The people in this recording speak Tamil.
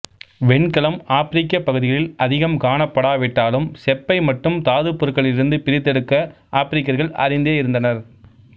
வெண்கலம் ஆப்ரிக்கப் பகுதிகளில் அதிகம் காணப்படாவிட்டாலும் செப்பை மட்டும் தாதுப் பொருட்களில் இருந்து பிரித்தெடுக்க ஆப்ரிக்கர்கள் அறிந்தே இருந்தனர்